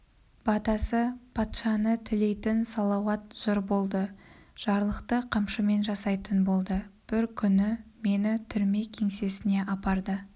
батасы патшаны тілейтін салауат жыр болды жарлықты қамшымен жасайтын болды бір күні мені түрме кеңсесіне апарды